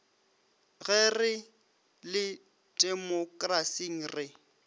ge re le temokrasing re